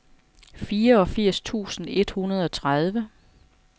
fireogfirs tusind et hundrede og tredive